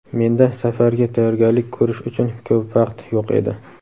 Menda safarga tayyorgarlik ko‘rish uchun ko‘p vaqt yo‘q edi.